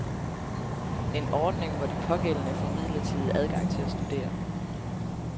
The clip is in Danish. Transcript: En ordning, hvor de pågældende får midlertidig adgang til at studere.